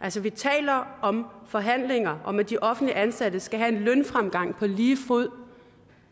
altså vi taler om forhandlinger og om at de offentligt ansatte skal have en lønfremgang på lige fod